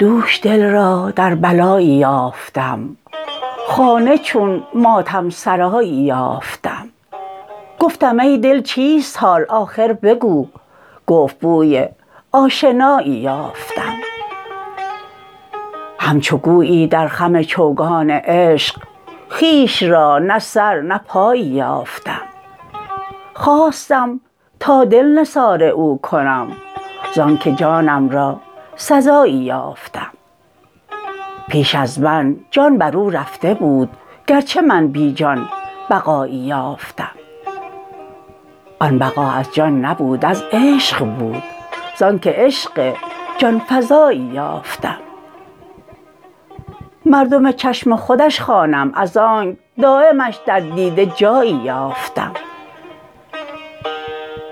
دوش دل را در بلایی یافتم خانه چون ماتم سرایی یافتم گفتم ای دل چیست حال آخر بگو گفت بوی آشنایی یافتم همچو گویی در خم چوگان عشق خویش را نه سر نه پایی یافتم خواستم تا دل نثار او کنم زانکه جانم را سزایی یافتم پیش از من جان بر او رفته بود گرچه من بی جان بقایی یافتم آن بقا از جان نبود از عشق بود زانکه عشق جان فزایی یافتم مردم چشم خودش خوانم از آنک دایمش در دیده جایی یافتم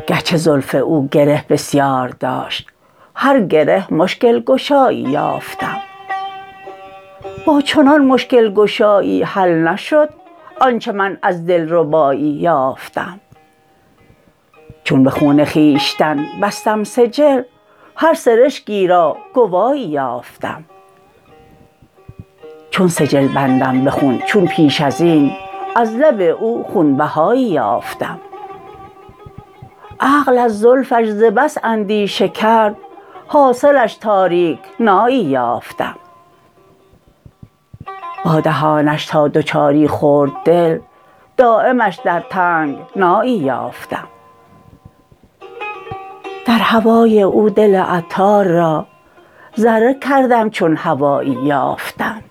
گرچه زلف او گره بسیار داشت هر گره مشکل گشایی یافتم با چنان مشکل گشایی حل نشد آنچه من از دلربایی یافتم چون به خون خویشتن بستم سجل هر سرشکی را گوایی یافتم چون سجل بندم به خون چون پیش ازین از لب او خون بهایی یافتم عقل از زلفش ز بس کاندیشه کرد حاصلش تاریکنایی یافتم با دهانش تا دوچاری خورد دل دایمش در تنگنایی یافتم در هوای او دل عطار را ذره کردم چون هبایی یافتم